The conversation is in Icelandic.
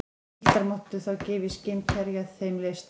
Piltar máttu þá gefa í skyn hverja þeim leist á.